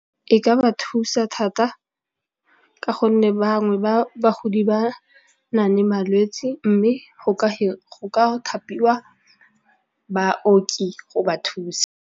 E ka ba thusa thata ka gonne bangwe ba bagodi ba na le malwetsi mme go ka thapiwa baoki go ba thusa.